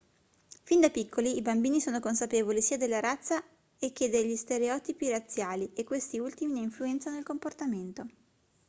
fin da piccoli i bambini sono consapevoli sia della razza e che degli stereotipi razziali e questi ultimi ne influenzano il comportamento